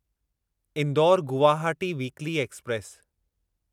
Indore Guwahati weekly express